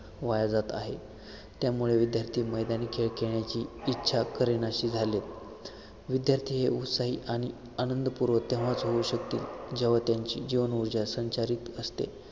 वाया जात आहे त्यामुळे विद्यार्थी मैदानी खेळ खेळण्याची इच्छा करेनाशी झालेत विद्यार्थी हे उत्साही आणि आनंदपूर्वक तेव्हाच होऊ शकतील जेव्हा त्यांची जीवन उर्जा संचारित असते